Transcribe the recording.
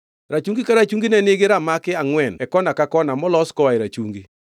Rachungi ka rachungi ne nigi ramaki angʼwen e kona ka kona molos koa e rachungi.